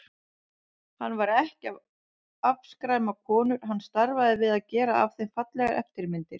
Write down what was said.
Hann var ekki að afskræma konur, hann starfaði við að gera af þeim fallegar eftirmyndir.